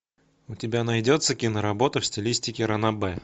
у тебя найдется киноработа в стилистике ранобэ